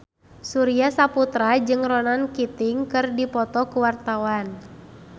Surya Saputra jeung Ronan Keating keur dipoto ku wartawan